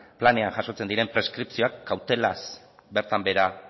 planean jasotzen diren preskripzioak kautelaz bertan behera